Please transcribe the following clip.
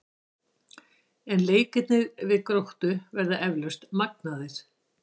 En leikirnir við Gróttu verða eflaust magnaðir.